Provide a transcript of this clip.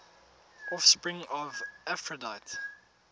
offspring of aphrodite